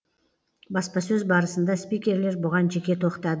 баспасөз барысында спикерлер бұған жеке тоқтады